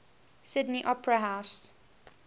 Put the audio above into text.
sydney opera house